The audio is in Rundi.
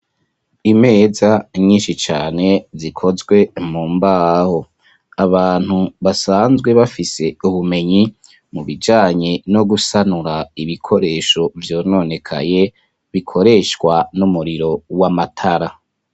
imeza nyinshi cane zikozwe mu mbaho abantu basanzwe bafise ubumenyi mu bijanye no gusanura ibikoresho vyononekaye bikoreshwa n'umuriro w'amatara.